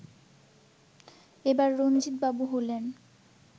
এবার রঞ্জিত বাবু হলেন